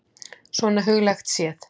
Svona huglægt séð.